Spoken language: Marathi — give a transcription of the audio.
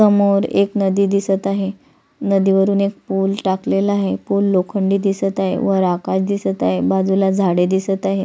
समोर एक नदी दिसत आहे नदीवरून एक पूल टाकलेला आहे पूल लोखंडी दिसत आहे वर आकाश दिसत आहे बाजूला झाडे दिसत आहे.